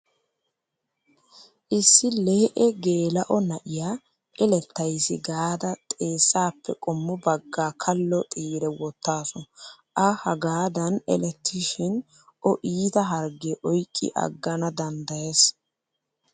issi lee'e geela'o naa'iyaa elettayisi gaadaaxeessappe qommo baggaa kallo xiire wottaasu. A hagaadan elettishshin O iita hargge oyiqqi aggana danddayes.